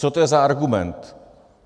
Co to je za argument?